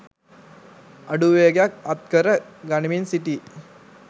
අඩු වේගයක් අත් කර ගනිමින් සිටී.